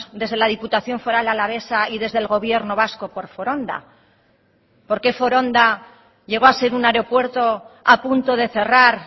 desde la diputación foral alavesa y desde el gobierno vasco por foronda por qué foronda llegó a ser un aeropuerto a punto de cerrar